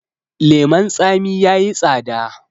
leman tsami ya yi tsada